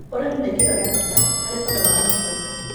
Ũrĩmĩ nĩ kĩĩga gĩa bata harĩ thogora wa mũtũrĩre